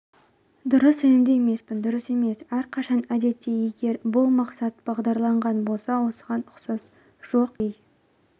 дұрыс сенімді емеспін дұрыс емес әрқашан әдетте егер бұл мақсат бағдарланған болса осыған ұқсас жоқ кей